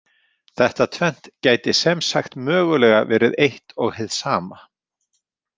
Þetta tvennt gæti sem sagt mögulega verið eitt og hið sama.